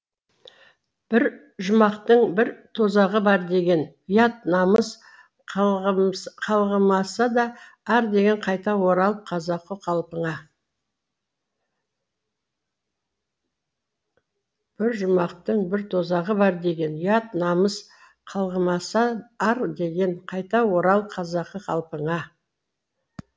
бір жұмақтың бір тозағы бар деген ұят намыс қалғымаса ар деген қайта орал қазақы қалпыңа бір жұмақтың бір тозағы бар деген ұят намыс қалғымаса ар деген қайта орал қазақы қалпыңа